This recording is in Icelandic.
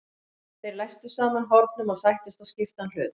Þeir læstu saman hornum og sættust á skiptan hlut.